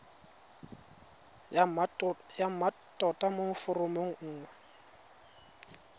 ya mmatota mo foromong nngwe